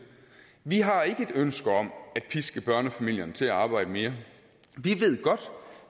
vi har ikke et ønske om at piske børnefamilierne til at arbejde mere vi ved godt